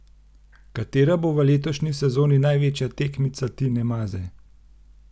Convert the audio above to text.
Katera bo v letošnji sezoni največja tekmica Tine Maze?